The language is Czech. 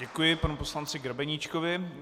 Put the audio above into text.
Děkuji panu poslanci Grebeníčkovi.